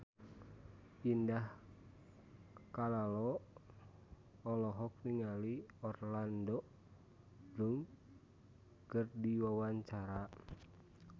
Indah Kalalo olohok ningali Orlando Bloom keur diwawancara